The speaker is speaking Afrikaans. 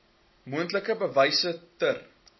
moontlik bewyse ter